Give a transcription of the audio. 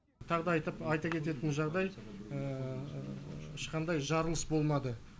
тағы да айтып айта кететін жағдай ешқандай жарылыс болмады